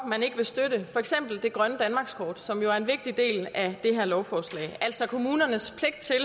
man ikke vil støtte for eksempel det grønne danmarkskort som jo er en vigtig del af det her lovforslag altså kommunernes